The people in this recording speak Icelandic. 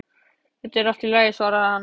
Þetta er allt í lagi, svarar hann.